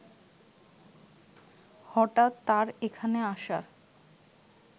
হঠাৎ তার এখানে আসার